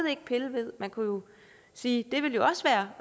ikke pille ved man kunne sige